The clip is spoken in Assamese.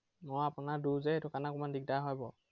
আহ আপোনাৰ দূৰ যে, সেইটো কাৰনে অলপ দিগদাৰ হয় বাৰু।